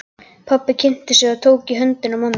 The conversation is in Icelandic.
Pabbi kynnti sig og tók í höndina á manninum.